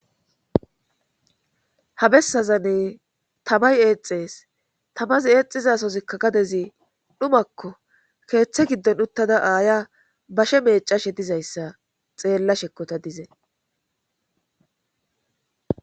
habessazanne tamay eexxees tamazi eexizasozikka gadezi dhumakko keeththe giddon uttada aaya bashe meecashe dizayssa xeella shekkota dize